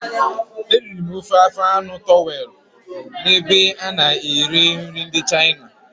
Eriri m ofe afọ anụ towelụ na ebe ana ere nri ndị Chịna